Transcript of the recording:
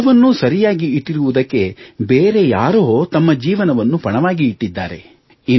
ಇವೆಲ್ಲವನ್ನೂ ಸರಿಯಾಗಿ ಇಟ್ಟಿರುವುದಕ್ಕೆ ಬೇರೆ ಯಾರಾದರೂ ತಮ್ಮ ಜೀವನವನ್ನು ಪಣವಾಗಿ ಇಟ್ಟಿದ್ದಾರೆ